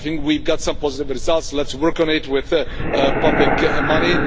I think we have got some positive results. Let's work on it with public money.